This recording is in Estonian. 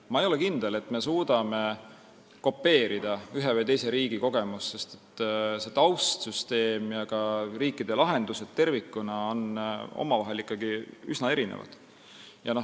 Ma ei ole kindel, et me suudame kopeerida ühe või teise riigi kogemusi, sest taustsüsteemid ja ka riikide lahendused tervikuna on ikkagi üsna erinevad.